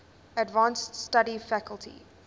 advanced study faculty